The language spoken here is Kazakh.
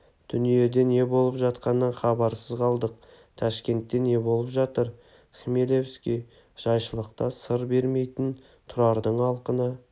дүниеде не болып жатқанынан хабарсыз қалдық ташкентте не болып жатыр хмелевский жайшылықта сыр бермейтін тұрардың алқына